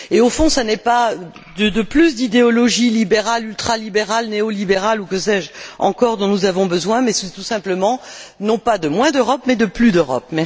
Au fond, ce n'est pas de plus d'idéologie libérale, ultralibérale, néolibérale, ou que sais je encore, dont nous avons besoin, mais c'est tout simplement non pas de moins d'Europe, mais de plus d'Europe!